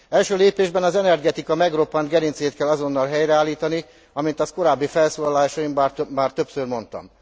Első lépésben az energetika megroppant gerincét kell azonnal helyreállítani, amint azt korábbi felszólalásaimban már többször mondtam.